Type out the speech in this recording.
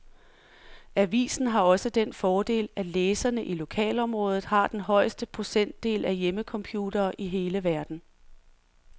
Avisen har også den fordel, at læserne i lokalområdet har den højeste procentdel af hjemmecomputere i hele verden.